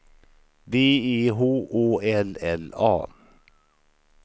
B E H Å L L A